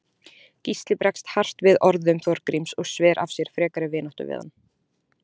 Gísli bregst hart við orðum Þorgríms og sver af sér frekari vináttu við hann.